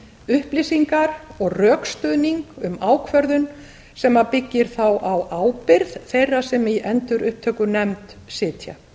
upplýsingar og rökstuðning um ákvörðun sem byggir þá á ábyrgð þeirra sem í endurupptökunefnd sitja